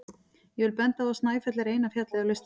Ég vil benda á að Snæfell er eina fjallið á listanum.